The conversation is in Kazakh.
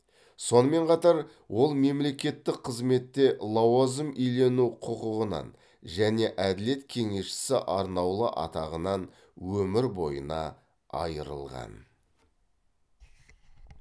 сонымен қатар ол мемлекеттік қызметте лауазым иелену құқығынан және әділет кеңесшісі арнаулы атағынан өмір бойына айырылған